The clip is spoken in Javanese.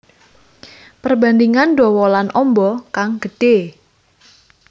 Perbandingan dawa lan amba kang gedhé